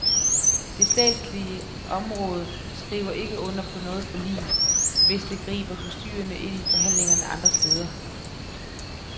Det statslige områder skriver ikke under på noget forlig, hvis det griber forstyrrende ind i forhandlinger andre steder.